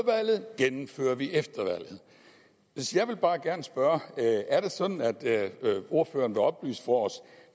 valget gennemfører vi efter valget jeg vil bare gerne spørge er det sådan at ordføreren vil oplyse for os